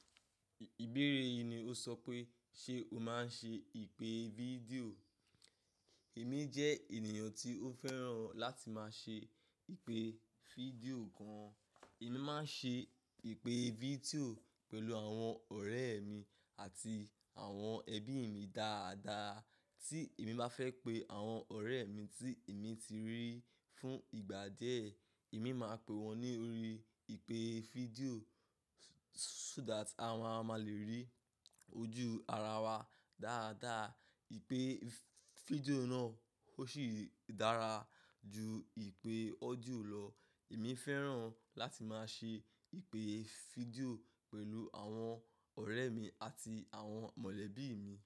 Ìbéèrè yìí ni o sọ pé ṣe o máa ń ṣe ìpè fídíò? Èmi jẹ́ ènìyàn tí ó fẹ́ràn láti máa ṣe ìpè fídíò gan. Èmi máa ń ṣe ìpè fídíò pẹ̀lú àwọn ọ̀rẹ́ mi àti àwọn ẹbí mi dáadáa. Tí èmi bá fẹ́ pe àwọn ọ̀rẹ́ mi tí èmi ti rí fún ìgbà díẹ̀, èmi máa pe wọn ní orí ìpè fídíò so that àwa máa le rí ojú ara wa dáadáa. Ìpè fídíò náà ó sì dára ju ìpè ọ́díò lọ. Èmi fẹ́ràn láti máa ṣe ìpè fídíò pẹ̀lú àwọn ọ̀rẹ́ mi àti àwọn mọ̀lẹ́bí mi.